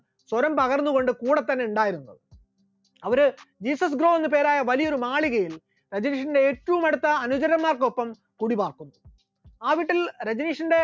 സ്വരം പകർന്നുകൊണ്ട് കൂടെ തന്നെ ഉണ്ടായിരുന്നു, ഒരു ജീസസ് ഗ്രോ എന്ന് പേരായ ഒരു മാളികയിൽ രജനീഷിന്റെ ഏറ്റവും അടുത്ത അനുചരന്മാർക്ക് ഒപ്പം കൂടി പാർക്കുന്നു, ആ വീട്ടിൽ രജനീഷിന്റെ